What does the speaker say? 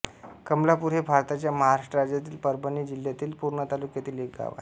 कमलापूर हे भारताच्या महाराष्ट्र राज्यातील परभणी जिल्ह्यातील पूर्णा तालुक्यातील एक गाव आहे